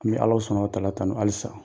An bɛ Alahu subahana wataala tanu halisa.